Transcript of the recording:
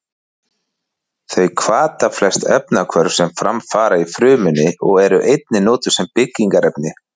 Þau hvata flest efnahvörf sem fram fara í frumunni og eru einnig notuð sem byggingarefni.